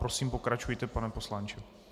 Prosím, pokračujte, pane poslanče.